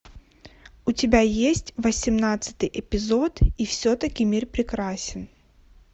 у тебя есть восемнадцатый эпизод и все таки мир прекрасен